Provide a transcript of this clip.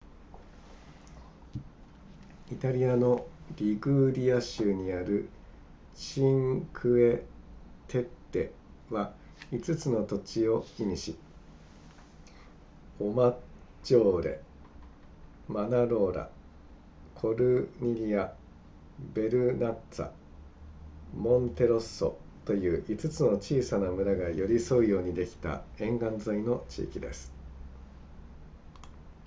イタリアのリグーリア州にあるチンクエテッレは5つの土地を意味しオマッジョーレマナローラコルニリアヴェルナッツァモンテロッソという5つの小さな村が寄り添うようにできた沿岸沿いの地域です